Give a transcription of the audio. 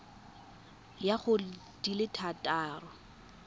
ya go di le thataro